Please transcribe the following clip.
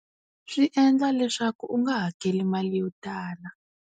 Swi endla leswaku u nga hakeli mali yo tala.